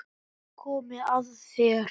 Nú er komið að þér.